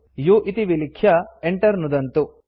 u इति विलिख्य enter नुदन्तु